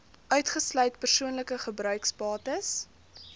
uitgesluit persoonlike gebruiksbates